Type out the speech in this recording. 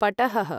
पटहः